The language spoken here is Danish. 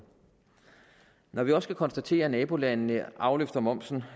når vi også kan konstatere at nabolandene afløfter momsen